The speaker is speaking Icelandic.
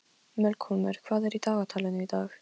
Melkólmur, hvað er í dagatalinu í dag?